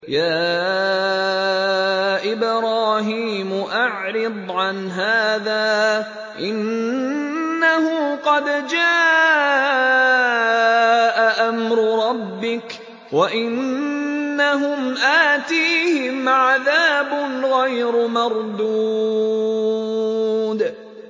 يَا إِبْرَاهِيمُ أَعْرِضْ عَنْ هَٰذَا ۖ إِنَّهُ قَدْ جَاءَ أَمْرُ رَبِّكَ ۖ وَإِنَّهُمْ آتِيهِمْ عَذَابٌ غَيْرُ مَرْدُودٍ